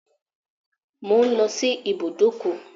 I'm going to the garage